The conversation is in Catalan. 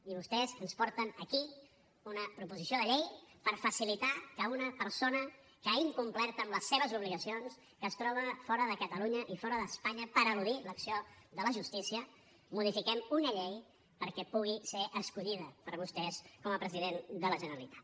i vostès ens porten aquí una proposició de llei per facilitar que una persona que ha incomplert amb les seves obligacions que es troba fora de catalunya i fora d’espanya per eludir l’acció de la justícia modifiquem una llei perquè pugui ser escollida per vostès com a president de la generalitat